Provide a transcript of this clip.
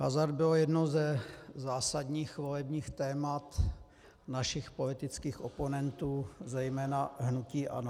Hazard byl jedním ze zásadních volebních témat našich politických oponentů, zejména hnutí ANO.